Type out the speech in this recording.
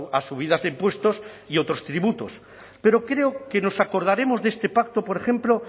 a subidas de impuestos y otros tributos pero creo que nos acordaremos de este pacto por ejemplo